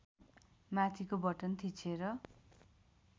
माथिको बटन थिचेर